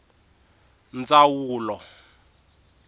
ndzawulo